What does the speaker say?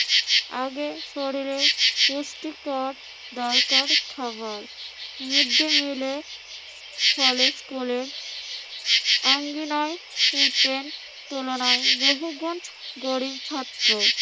আগে শরীরে পুষ্টিকর দরকার খাবার। মৃদ্দিমিলের ফলে স্কুলের আঙ্গিনায় ঘুরতেন তুলনায় বহুগুণ গরিব ছাত্র।